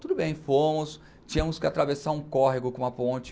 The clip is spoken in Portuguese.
Tudo bem, fomos, tínhamos que atravessar um córrego com uma ponte.